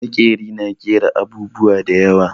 Maƙeri na ƙera abubuwa da yawa.